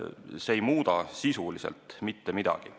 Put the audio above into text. See ei muuda sisuliselt mitte midagi.